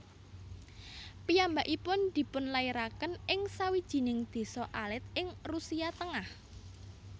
Piyambakipun dipunlairaken ing sawijining désa alit ing Rusia tengah